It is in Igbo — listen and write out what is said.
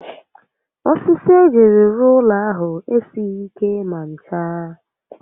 Osisi ejiri rụọụlọ ahụ esighi ike ma ncha